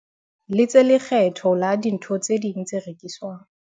letse lekgetho la dintho tse ding tse rekiswang.